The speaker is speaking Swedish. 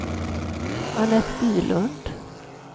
Anette Bylund